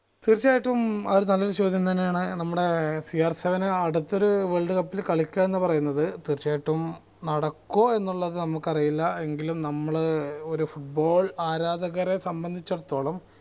തീർച്ചയായിട്ടും അത് നല്ലൊരു ചോദ്യം തന്നെയാണ് നമ്മളെ സി ആർ seven അടുത്തൊരു world cup ൽ കളിക്കുക എന്ന് പറയുന്നത് തീർച്ചയായിട്ടും നടക്കുഓ എന്നുള്ളത് നമുക്കറീല എങ്കിലും നമ്മൾ ഏർ ഒരു football ആരാധകരെ സംബന്ധിചടത്തോളം